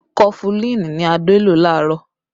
Kọfulin ni Adé lò laarọ